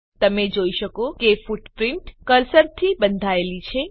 તમે જોઈ શકો કે ફૂટપ્રીંટ કર્સરથી બંધાયેલી છે